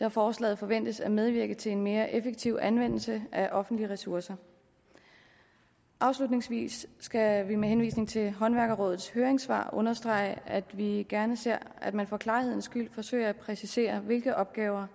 da forslaget forventes at medvirke til en mere effektiv anvendelse af offentlige ressourcer afslutningsvis skal vi med henvisning til håndværkerrådets høringssvar understrege at vi gerne ser at man for klarhedens skyld forsøger at præcisere hvilke opgaver